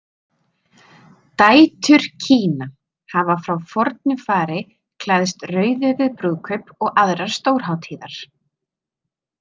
„Dætur Kina“ hafa frá fornu fari klæðst rauðu við brúkaup og aðrar stórhátíðar.